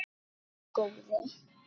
Heyrðu góði.